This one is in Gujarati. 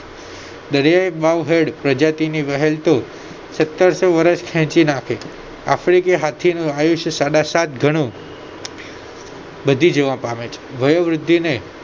પ્રજાતિની વ્હેલ તો સતારશો વર્ષ ખેંચી નાખે આફ્રિકી હાથીનું આયુષ્ય સાડા સાત ગણું વધી જવા પામે છે વયોવૃદ્ધિને